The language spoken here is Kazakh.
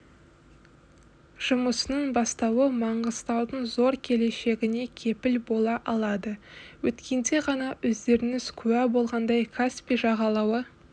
жұмысын бастауы маңғыстаудың зор келешегіне кепіл бола алады өткенде ғана өздеріңіз куә болғандай каспий жағалауы